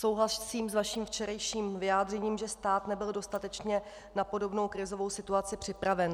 Souhlasím s vaším včerejším vyjádřením, že stát nebyl dostatečně na podobnou krizovou situaci připraven.